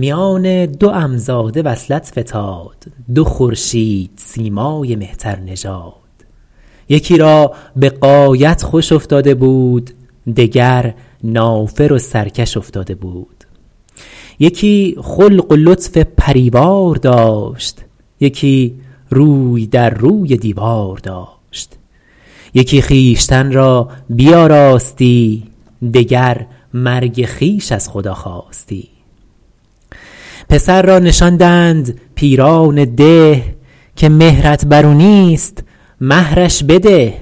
میان دو عم زاده وصلت فتاد دو خورشید سیمای مهتر نژاد یکی را به غایت خوش افتاده بود دگر نافر و سرکش افتاده بود یکی خلق و لطف پریوار داشت یکی روی در روی دیوار داشت یکی خویشتن را بیاراستی دگر مرگ خویش از خدا خواستی پسر را نشاندند پیران ده که مهرت بر او نیست مهرش بده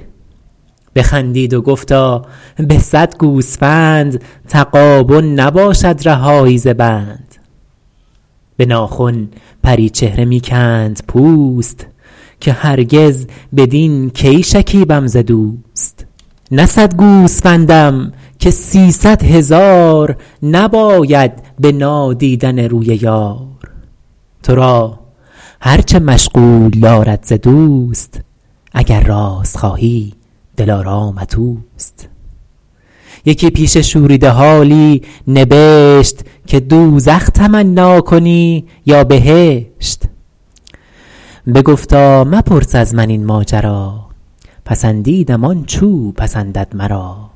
بخندید و گفتا به صد گوسفند تغابن نباشد رهایی ز بند به ناخن پری چهره می کند پوست که هرگز بدین کی شکیبم ز دوست نه صد گوسفندم که سیصد هزار نباید به نادیدن روی یار تو را هر چه مشغول دارد ز دوست اگر راست خواهی دلارامت اوست یکی پیش شوریده حالی نبشت که دوزخ تمنا کنی یا بهشت بگفتا مپرس از من این ماجرا پسندیدم آنچ او پسندد مرا